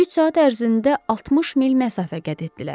Üç saat ərzində 60 mil məsafə qət etdilər.